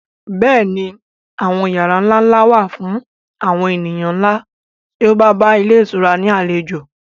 Bẹ́ẹ̀ ni àwọn yàrá ńlá ńlá wà fún àwọn ènìyàn ńlá tí ó bá bá ilé ìtura ní àlejò